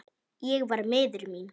Ég var miður mín.